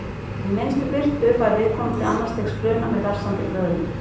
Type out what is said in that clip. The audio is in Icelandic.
Við minnstu birtu fær viðkomandi annars stigs bruna með vessandi blöðrum.